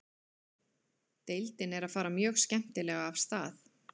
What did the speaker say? Deildin er að fara mjög skemmtilega af stað.